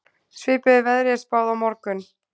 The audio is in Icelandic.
Svipuðu veðri er spáð á morgun